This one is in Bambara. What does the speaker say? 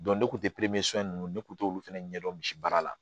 ne kun te ninnu ne kun t'olu fɛnɛ ɲɛ dɔn misi baara la